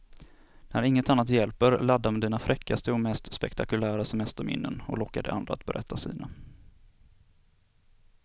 När inget annat hjälper, ladda med dina fräckaste och mest spektakulära semesterminnen och locka de andra att berätta sina.